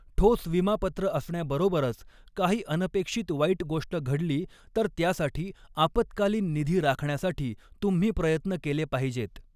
ठोस विमापत्र असण्याबरोबरच, काही अऩपेक्षित वाईट गोष्ट घडली तर त्यासाठी आपत्कालीन निधी राखण्यासाठी तुम्ही प्रयत्न केले पाहिजेत.